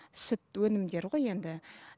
сүт өнімдері ғой енді